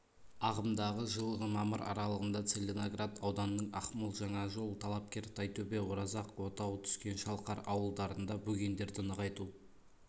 ағымдағы жылғы мамыр аралығында целиноград ауданының ақмол жаңажол талапкер тайтөбе оразақ отау түскен шалқар ауылдарында бөгендерді нығайту